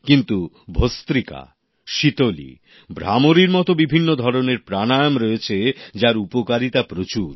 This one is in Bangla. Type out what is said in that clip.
কিন্তু ভস্ত্রিকা শীতলী ভ্রামরীর মতো বিভিন্ন ধরনের প্রাণায়াম রয়েছে যার উপকারিতা প্রচুর